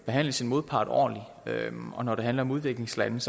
behandle sin modpart ordentligt og når det handler om udviklingslande